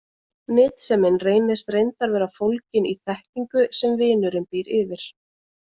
Nytsemin reynist reyndar vera fólgin í þekkingu sem vinurinn býr yfir.